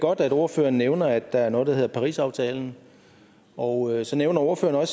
godt at ordføreren nævner at der er noget der hedder parisaftalen og så nævner ordføreren